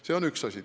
See on üks asi.